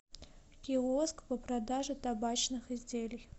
киоск по продаже табачных изделий